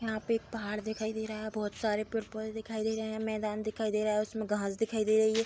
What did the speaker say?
यहाँ पे एक पहाड़ दिखाई दे रहा है बहोत सारे पेड़-पौधे दिखाई दे रहे हैं मैदान दिखाई दे रहा है उसमे घांस दिखाई दे रही है।